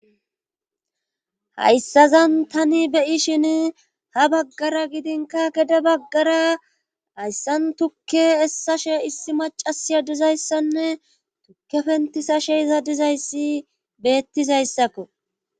hayssazan tani beyi shin ha baggara gidinka gede baggara hayssan tukke essashe issi macasiya dizayssanne tukke pentisashe iza dizayssi beettizayssakko